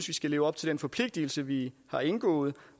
vi skal leve op til den forpligtigelse vi har indgået